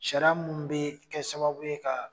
Sariya minnu be yen kɛ sababu ye ka